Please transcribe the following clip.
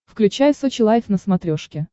включай сочи лайв на смотрешке